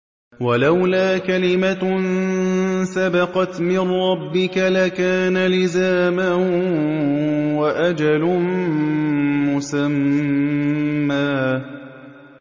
وَلَوْلَا كَلِمَةٌ سَبَقَتْ مِن رَّبِّكَ لَكَانَ لِزَامًا وَأَجَلٌ مُّسَمًّى